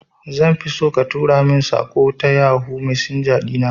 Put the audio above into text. Zanfi so ka tura mun saƙo ta yohoo messenger ɗina